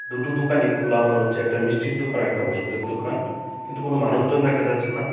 দুটো দোকানই খোলা মনে হচ্ছে একটা মিষ্টির দোকান একটা ওষুধের দোকান কিন্তু কোন মানুষজন দেখা যাচ্ছে না .